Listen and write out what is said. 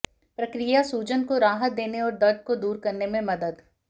प्रक्रिया सूजन को राहत देने और दर्द को दूर करने में मदद